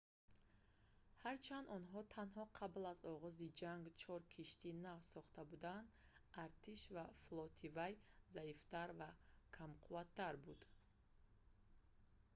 ҳарчанд онҳо танҳо қабл аз оғози ҷанг чор киштии нав сохта буданд артиш ва флоти вай заифтар ва камқувват буд